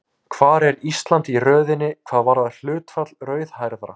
Hvar er Ísland í röðinni hvað varðar hlutfall rauðhærðra?